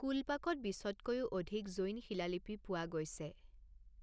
কুলপাকত বিছতকৈও অধিক জৈন শিলালিপি পোৱা গৈছে।